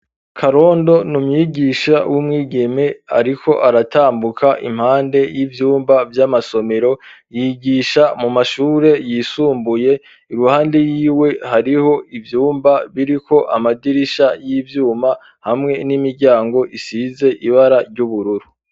Karondo n'umwigisha w'umwigeme ariko aratambuka impande y'ivyumba vy'amasomero yigisha mu mashure yisumbuye iruhande yiwe hariho ivyumba biriko amadirisha y'ivyuma hamwe n'imiryango isize ibara ry'ubururu.